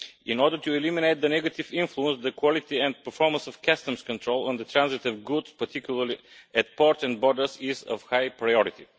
In order to eliminate the negative influence, the quality and performance of customs control on the transit of goods, particularly at ports and borders, is of high priority.